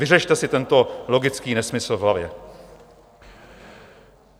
Vyřešte si tento logický nesmysl v hlavě.